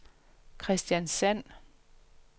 Kristiansand